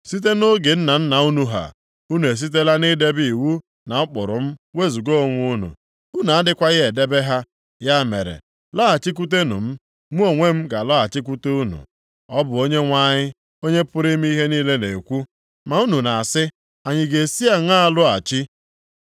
Site nʼoge nna nna unu ha, unu esitela nʼidebe iwu na ụkpụrụ m wezuga onwe unu. Unu adịghịkwa edebe ha. Ya mere, lọghachikwutenụ m, mụ onwe m ga-alọghachikwute unu.” Ọ bụ Onyenwe anyị, Onye pụrụ ime ihe niile na-ekwu. “Ma unu na-asị, ‘Anyị ga-esi aṅaa lọghachi?’